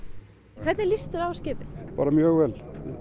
hvernig líst þér á skipið bara mjög vel